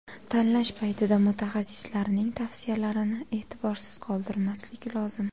Tanlash paytida mutaxassislarning tavsiyalarini e’tiborsiz qoldirmaslik lozim.